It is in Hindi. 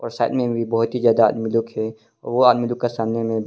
प्रसाद में भी बहुत ही ज्यादा आदमी लोग है वह आदमी जो का सामने में--